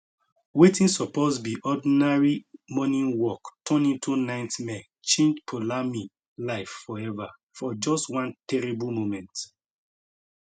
wetin suppose be ordinary morning work turn into nightmare change poulami life forever for just one terrible moment